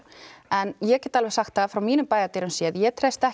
en ég get alveg sagt það að frá mínum bæjardyrum séð ég treysti ekki